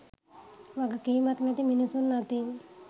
වගකීමක් නැති මිනිසුන්‍ අතින්